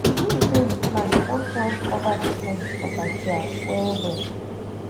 the beans wey we plant don climb cover the fence for backyard wellwell